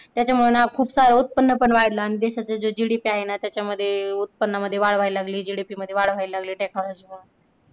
त्याच्यामुळे ना खूप सारं उत्पन्न पण वाढलं आणि देशाच्या GDP आहेना त्याच्यामध्ये उत्पन्न मध्ये वाढ व्हायला लागली GDP मध्ये वाढ व्हायला लागली technology मुळे